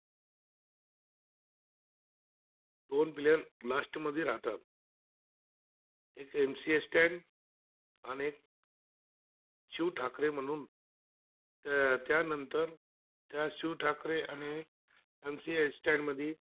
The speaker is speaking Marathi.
शिव ठाकरे म्हणू त्यानंतर त्या शिव ठाकरे आणि MC Stand टमध्ये